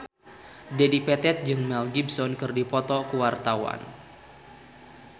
Dedi Petet jeung Mel Gibson keur dipoto ku wartawan